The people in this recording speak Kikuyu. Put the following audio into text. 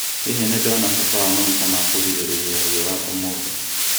Hihi nĩ ndona bata wa maguta ma kũgirĩrĩria riũa ũmũthĩ?